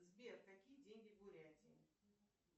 сбер какие деньги в бурятии